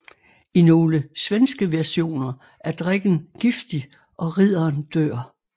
I nogle svenske versioner er drikken giftig og ridderen dør